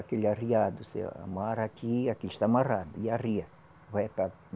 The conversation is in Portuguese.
Aquele arriado, se amarra aqui, aqui está amarrado, e arria.